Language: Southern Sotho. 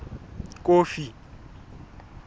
kofi